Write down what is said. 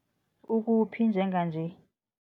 Ukuphi njenganje?